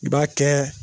I b'a kɛ